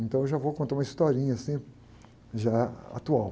Então eu já vou contar uma historinha, assim, já atual.